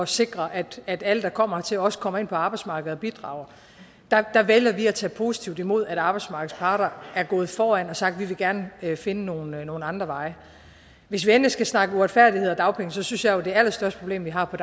sikre at at alle der kommer hertil også kommer ind på arbejdsmarkedet og bidrager vælger at tage positivt imod at arbejdsmarkedets parter er gået foran og har sagt at de gerne vil finde nogle andre veje hvis vi endelig skal snakke uretfærdighed og dagpenge synes jeg jo at det allerstørste problem vi har på